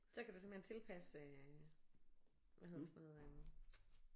Så kan du simpelthen tilpasse hvad hedder sådan noget